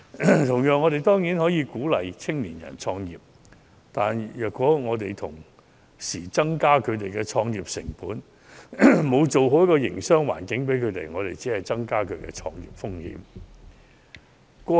同樣，我們當然鼓勵青年人創業，但如果我們同時增加其創業成本，沒有營造好營商環境，我們只會增加他們的創業風險。